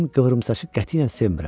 mən qıvrımsaçı qətiyyən sevmirəm.